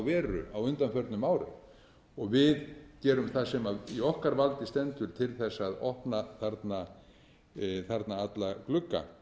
veru á undanförnum árum við gerum það sem í okkar valdi stendur til að opna þarna alla glugga